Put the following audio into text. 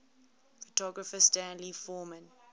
photographer stanley forman